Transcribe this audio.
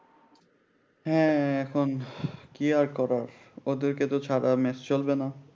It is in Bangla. হ্যাঁ এখন কি আর করা ওদেরকে তো ছাড়া মেস চলবে না